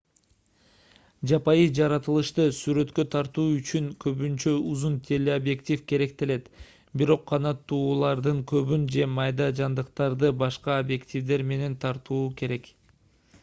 жапайы жаратылышты сүрөткө тартуу үчүн көбүнчө узун телеобъектив керектелет бирок канаттуулардын тобун же майда жандыктарды башка объективдер менен тартуу керек